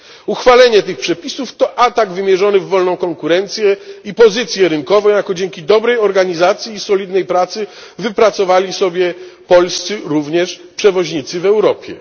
Uchwalenie tych przepisów to atak wymierzony w wolną konkurencję i pozycję rynkową, jaką dzięki dobrej organizacji i solidnej pracy wypracowali sobie polscy również przewoźnicy w Europie.